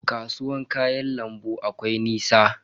Kasuwan kayan lambun akwai nisa?